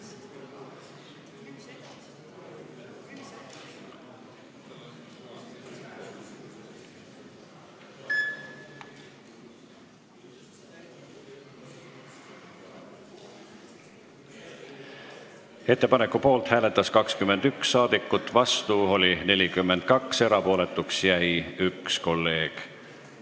Hääletustulemused Ettepaneku poolt hääletas 21 rahvasaadikut, vastu oli 42, erapooletuks jäi üks kolleeg.